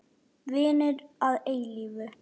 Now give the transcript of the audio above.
Vinir að eilífu.